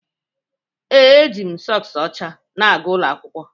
Ee, ejiri m sọks ọcha na-aga ụlọ akwụkwọ.